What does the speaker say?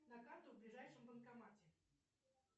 на карту в ближайшем банкомате